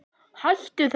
Hættu þessu